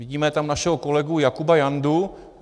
Vidíme tam našeho kolegu Jakuba Jandu.